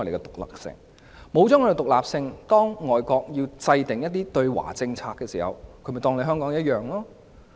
當我們失去獨立性，而外國要制訂一些對華政策時，便會同樣看待香港。